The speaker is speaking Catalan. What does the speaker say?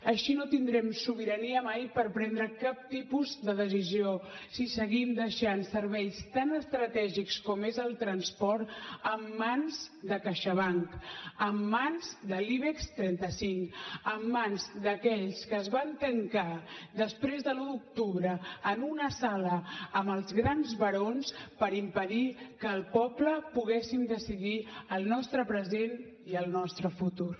així no tindrem sobirania mai per prendre cap tipus de decisió si seguim deixant serveis tan estratègics com és el transport en mans de caixabank en mans de l’ibex trenta cinc en mans d’aquells que es van tancar després de l’un d’octubre en una sala amb els grans barons per impedir que el poble poguéssim decidir el nostre present i el nostre futur